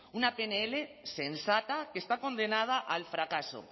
una pnl sensata que está condenada al fracaso